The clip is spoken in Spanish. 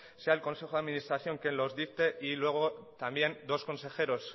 sea el consejo de administración quien los dicte y luego también dos consejeros